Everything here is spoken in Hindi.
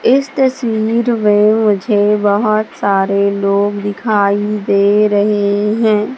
इस तस्वीर में मुझे बहोत सारे लोग दिखाई दे रहे हैं।